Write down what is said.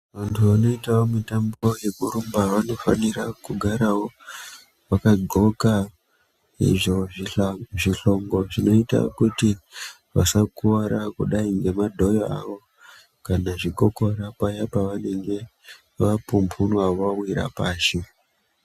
Vantu vanoitawo mitambo yekurumba vanofanira kugarawo vakagoqa izvo zvihlongo zvinoita kuti vasakuwara kudai nemadhoyo avo kana zvikokora kudai pavenge vapumbunwa vawire pashi.